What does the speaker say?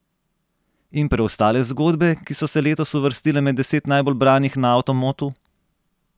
In preostale zgodbe, ki so se letos uvrstile med deset najbolj branih na Avtomotu?